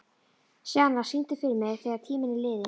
Sjana, syngdu fyrir mig „Þegar tíminn er liðinn“.